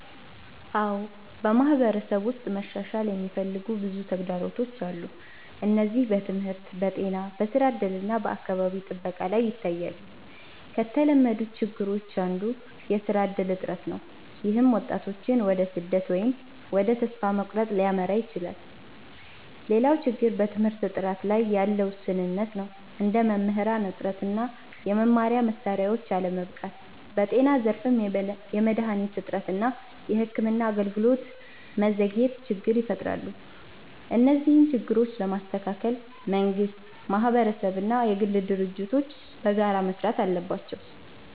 አዎ፣ በማህበረሰብ ውስጥ መሻሻል የሚፈልጉ ብዙ ተግዳሮቶች አሉ። እነዚህ በትምህርት፣ በጤና፣ በስራ እድል እና በአካባቢ ጥበቃ ላይ ይታያሉ። ከተለመዱት ችግሮች አንዱ የስራ እድል እጥረት ነው፣ ይህም ወጣቶችን ወደ ስደት ወይም ወደ ተስፋ መቁረጥ ሊያመራ ይችላል። ሌላው ችግር በትምህርት ጥራት ላይ ያለ ውስንነት ነው፣ እንደ መምህራን እጥረት እና የመማሪያ መሳሪያዎች አለመበቃት። በጤና ዘርፍም የመድሃኒት እጥረት እና የሕክምና አገልግሎት ዘግይቶች ችግር ይፈጥራሉ። እነዚህን ችግሮች ለመስተካከል መንግስት፣ ማህበረሰብ እና የግል ድርጅቶች በጋራ መስራት አለባቸው።